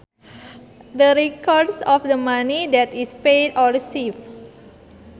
The records of the money that is paid or received